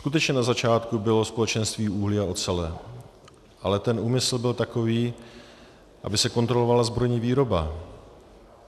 Skutečně na začátku bylo společenství uhlí a ocele, ale ten úmysl byl takový, aby se kontrolovala zbrojní výroba.